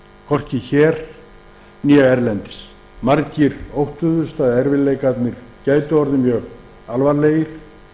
hvorki hér né erlendis margir óttuðust að erfiðleikarnir gætu orðið mjög alvarlegir